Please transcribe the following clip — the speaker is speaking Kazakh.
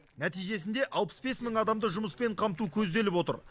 нәтижесінде алпыс бес мың адамды жұмыспен қамту көзделіп отыр